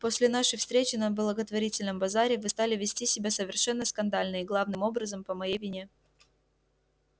после нашей встречи на благотворительном базаре вы стали вести себя совершенно скандально и главным образом по моей вине